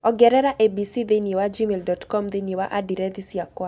ongerera abc thĩinĩ wa gmail dot com thĩinĩ wa andirethi ciakwa